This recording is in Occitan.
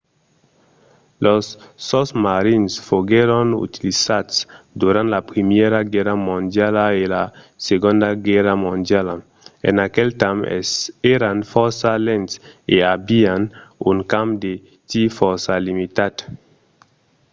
los sosmarins foguèron utilizats durant la primièra guèrra mondiala e la segonda guèrra mondiala. en aquel temps èran fòrça lents e avián un camp de tir fòrça limitat